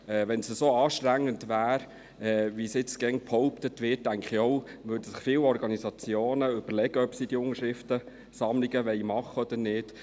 Wenn es so anstrengend wäre, wie jetzt immer behauptet wird, denke ich auch, dass sich viele Organisationen überlegen würden, ob sie Unterschriftensammlungen durchführen wollen oder nicht.